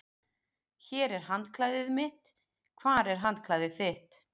Hér er handklæðið mitt. Hvar er handklæðið þitt?